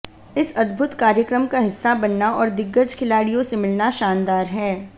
इस अद्भुत कार्यक्रम का हिस्सा बनना और दिग्गज खिलाड़ियों से मिलना शानदार है